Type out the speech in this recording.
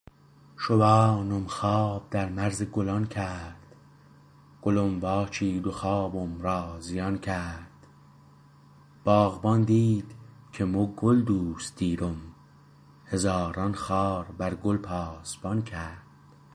شوانم خواب در مرز گلان کرد گلم واچید و خوابم را زیان کرد باغبان دید که مو گل دوست دیرم هزاران خار بر گل پاسبان کرد